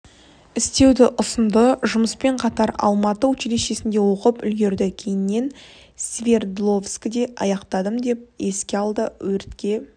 істеуді ұсынды жұмыспен қатар алматы училищесінде оқып үлгерді кейіннен свердловскіде аяқтадым деп еске алды өртке